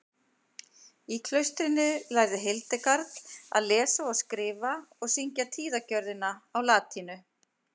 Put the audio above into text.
í klaustrinu lærði hildegard að lesa og skrifa og syngja tíðagjörðina á latínu